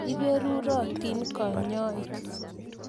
Iperurotin kanyoik.